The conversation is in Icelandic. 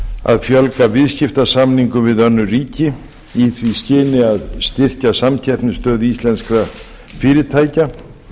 að fjölga viðskiptasamningum við önnur ríki í því skyni að styrkja samkeppnisstöðu íslenskra fyrirtækja